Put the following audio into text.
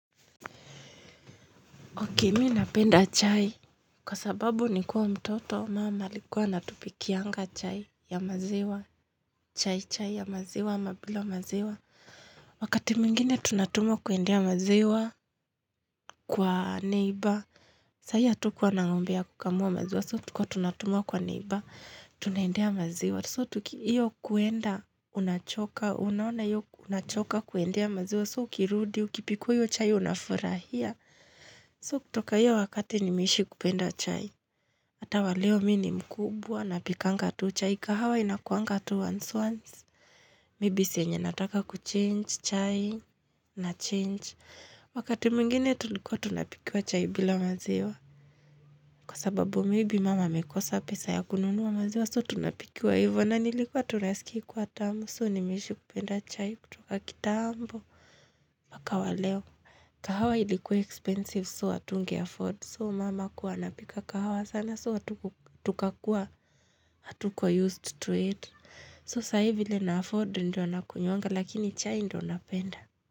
Ok, mi napenda chai, kwa sababu ni kuwa mtoto, mum alikuwa anatupikianga chai ya maziwa, chai chai ya maziwa, ama bila maziwa. Wakati mwingine tunatumwa kuendea maziwa kwa neiba, saiyo hatukuwa na ng'ombe ya kukamua maziwa, so tulikuwa tunatumua kwa neiba, tunaendea maziwa. So iyo kuenda, unachoka, unaona iyo unachoka kuendea maziwa, so ukirudi, ukipikiwa iyo chai unafurahia. So kutoka iyo wakati nimeishi kupenda chai Ata waleo mi ni mkubwa napikanga tu chai kahawa inakuanga tu once once Maybe saa yenye nataka kuchange chai na change Wakati mungene tulikuwa tunapikiwa chai bila maziwa Kwa sababu maybe mum amekosa pesa ya kununuwa maziwa So tunapikua evo na nilikuwa naskia ikiwa tamu So ni mi nimeishi kupenda chai kutoka kitambo Waka waleo kahawa ilikuwa expensive So, atunge afford. So, mama kuwa napika kahawa sana. So, atuku tukauwa, hatuka used to it. So, sahi vile na afford, ndio nakunywanga, lakini chai ndio anapenda.